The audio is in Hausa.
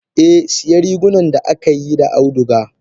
Eh siya rigunan da akaiyi da auduga.